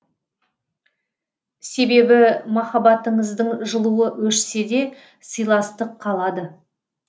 себебі махаббатыңыздың жылуы өшсе де сыйластық қалады